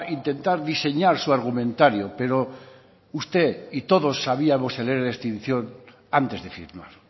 intentar diseñar su argumentario pero usted y todos sabíamos el ere de extinción antes de firmar